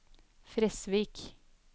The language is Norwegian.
Fresvik